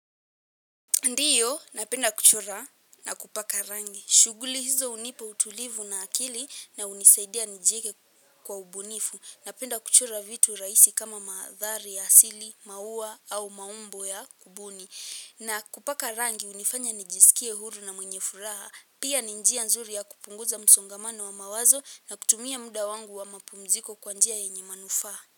Ndiyo napenda kuchora na kupaka rangi. Shughuli hizo hunipa utulivu na akili na hunisaidia nijieke kwa ubunifu. Napenda kuchora vitu rahisi kama maandhari ya asili, maua au maumbo ya kubuni. Na kupaka rangi hunifanya nijisikie huru na mwenye furaha. Pia ni njia nzuri ya kupunguza msongamano wa mawazo na kutumia muda wangu wa mapumziko kwa njia yenye manufaa.